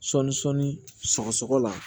Sɔɔni sɔɔni sɔgɔ sɔgɔ la